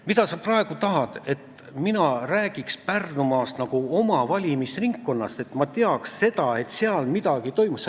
Mida sa praegu tahad – et mina räägiks Pärnumaast nagu oma valimisringkonnast, et ma teaks, mis seal toimub?